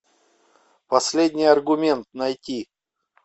последний аргумент найти